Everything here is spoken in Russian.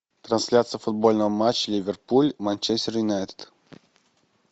трансляция футбольного матча ливерпуль манчестер юнайтед